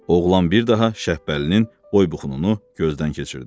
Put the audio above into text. Oğlan bir daha Şəbpəlinin boy-buxununu gözdən keçirdi.